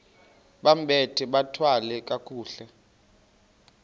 bambathe bathwale kakuhle